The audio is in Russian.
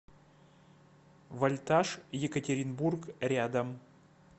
вольтаж екатеринбург рядом